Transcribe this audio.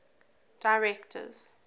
directors